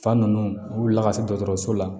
Fa ninnu u bila ka se dɔgɔtɔrɔso la